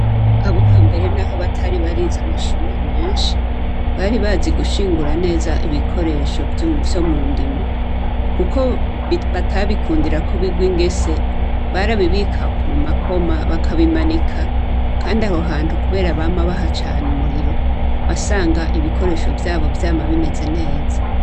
Abuhambere na ho batari barizi amashure menshi bari bazi gushingura neza ibikoresho vyo mu ndimo, kuko batabikundira ko bigwe ingese barabibika mu makoma bakabimanika, kandi abo hantu, kubera bama bahacane umuriro basanga ibikoresho vyabo vyame mabimeze neza.